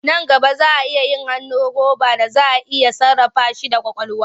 Nan gaba za a yi hannu roba da za a iya sarrafa shi da ƙwaƙwalwa.